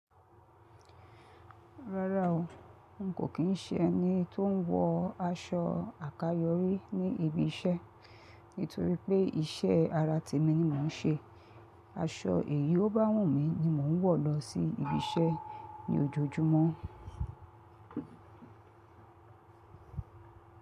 Rárá o, n kò kín ṣé ẹni tó ń wọ aṣọ àkayòrí ní ibi iṣẹ́ nítorí pé iṣẹ́ ara tèmi ni mó nṣe. Aṣọ èyí ó bá wù mí ni mó ń wọ̀ lọsí ibi iṣẹ́ ní ójójúmọ́.